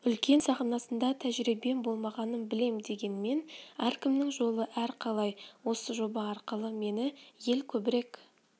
үлкен сахнасында тәжірибем болмағанын білем дегенмен әркімнің жолы әрқалай осы жоба арқылы мені ел көбірек